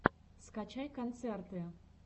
скачай концерты